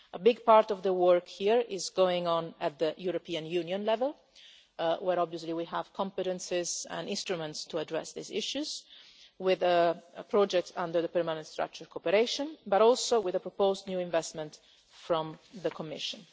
A big part of the work here is going on at European Union level, where obviously we have competencies and instruments to address these issues, with a project under the permanent structured cooperation, as well as with the proposed new investment from the Commission.